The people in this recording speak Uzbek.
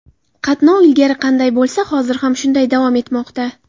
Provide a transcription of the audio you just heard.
Qatnov ilgari qanday bo‘lsa, hozir ham shunday davom etmoqda.